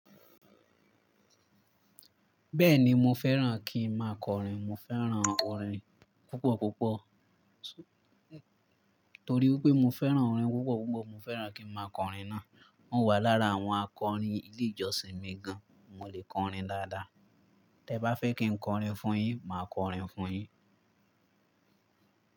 Bẹ́ẹ̀ni mo fẹ́ràn kí n máa kọrin. Mo fẹ́ràn orin púpọ̀ púpọ̀. Torí wipé mo fẹ́ràn orin púpọ̀ púpọ̀, mo fẹ́ràn kí n máa kọrin náà. Mò wà lára àwọn akọrin ilé ìjọsìn mi gan. Mo lè kọrin dáadáa. Tẹ bá fẹ́ kí n kọrin fún yín, màá kọrin fún yín.